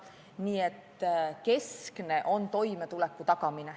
Nii et keskne on toimetuleku tagamine.